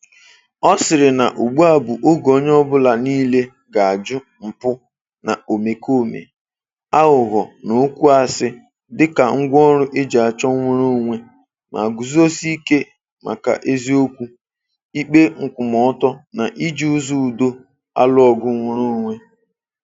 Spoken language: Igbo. Ọ sịrị na ugbua bụ oge onye ọbụla niile ga-ajụ mpụ na omekome, aghụghọ na okwu asị dịka ngwaọrụ e ji achọ nnwereonwe, ma guzosie ike maka eziokwu, ikpe nkwụmọọtọ na iji ụzọ udo alụ ọgụ nnwereonwe.